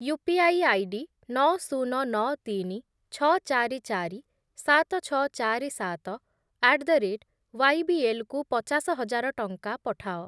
UPI ID ନଅ, ଶୂନ, ନଅ, ତିନି, ଛଅ, ଚାରି, ଚାରି, ସାତ, ଛଅ, ଚାରି, ସାତ ଆଟ୍ ଦ ରେଟ୍ ୱାଇବିଏଲ୍ କୁ ପଚାଶ ହଜାର ଟଙ୍କା ପଠାଅ।